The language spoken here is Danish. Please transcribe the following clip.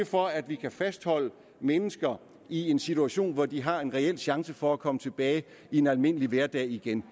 for at vi kan fastholde mennesker i en situation hvor de har en reel chance for at komme tilbage i en almindelig hverdag igen